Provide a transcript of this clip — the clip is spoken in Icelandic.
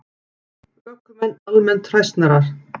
Ökumenn almennt hræsnarar